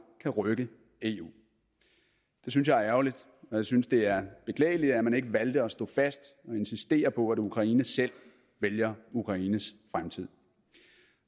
kan rykke eu det synes jeg er ærgerligt og jeg synes det er beklageligt at man ikke valgte at stå fast og insistere på at ukraine selv vælger ukraines fremtid